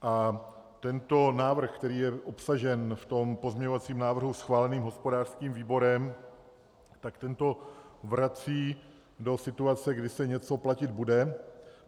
A tento návrh, který je obsažen v tom pozměňovacím návrhu schváleném hospodářským výborem, tak ten to vrací do situace, kdy se něco platit bude.